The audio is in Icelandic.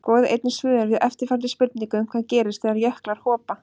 Skoðið einnig svör við eftirfarandi spurningum Hvað gerist þegar jöklar hopa?